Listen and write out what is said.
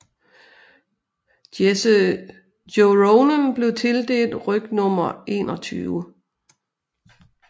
Jesse Joronen blev tildelt rygnummer 21